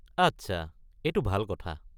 আচ্ছা, এইটো ভাল কথা।